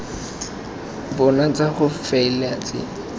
bona tsa go faela tse